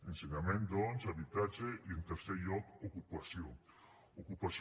ensenyament doncs habitatge i en tercer lloc ocupació ocupació